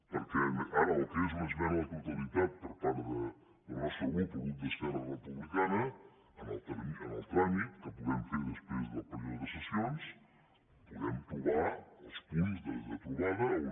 perquè ara el que és una esmena a la totalitat per part del nostre grup el grup d’esquerra republicana en el tràmit que puguem fer després del període de sessions puguem trobar els punts de trobada on